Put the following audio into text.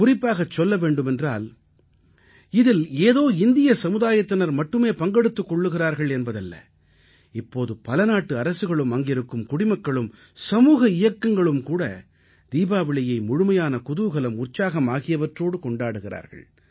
குறிப்பாகச் சொல்ல வேண்டுமென்றால் இதில் ஏதோ இந்திய சமுதாயத்தினர் மட்டுமே பங்கெடுத்துக் கொள்கிறார்கள் என்பதல்ல இப்போது பலநாட்டு அரசுகளும் அங்கிருக்கும் குடிமக்களும் சமூக இயக்கங்களும் கூட தீபாவளியை முழுமையான குதூகலம் உற்சாகம் ஆகியவற்றோடு கொண்டாடுகிறார்கள்